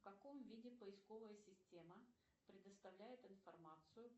в каком виде поисковая система предоставляет информацию